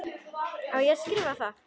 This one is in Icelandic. Á ég að skrifa það?